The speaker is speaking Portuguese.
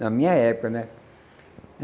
Na minha época, né?